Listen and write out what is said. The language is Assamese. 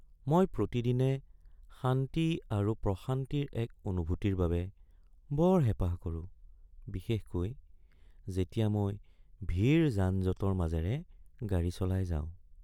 মই প্ৰতিদিনে শান্তি আৰু প্ৰশান্তিৰ এক অনুভূতিৰ বাবে বৰ হেঁপাহ কৰোঁ বিশেষকৈ যেতিয়া মই ভিৰ যান-জঁটৰ মাজেৰে গাড়ী চলাই যাওঁ।